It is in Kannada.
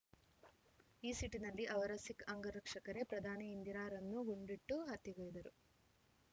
ಈ ಸಿಟಿ ನಲ್ಲಿ ಅವರ ಸಿಖ್‌ ಅಂಗರಕ್ಷಕರೇ ಪ್ರಧಾನಿ ಇಂದಿರಾರನ್ನು ಗುಂಡಿಟ್ಟು ಹತ್ಯೆಗೈದರು